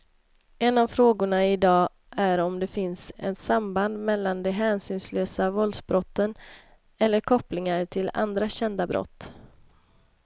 En av frågorna i dag är om det finns ett samband mellan de hänsynslösa våldsbrotten eller kopplingar till andra kända brott.